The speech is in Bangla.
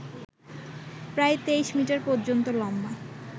প্রায় তেইশ মিটার পর্যন্ত লম্বা